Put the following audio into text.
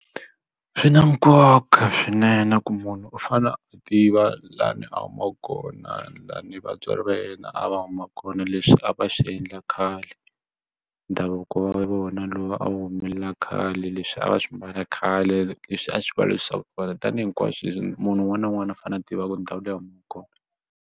Swi na nkoka swinene ku munhu u fane a tiva laha ni a humaka kona la ni vatswari va yena a va huma kona leswi a va swi endla khale ndhavuko wa vona lowu a wu humelela khale leswi a va swi mbala khale leswi a swi tanihi hinkwaswo leswi munhu un'wana na un'wana a fanele a tivaka ndhawu leyi a humaka kona.